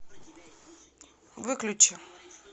выключи